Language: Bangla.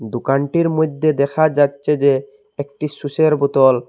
দোকানটির মইধ্যে দেখা যাচ্ছে যে একটি সুসের বোতল।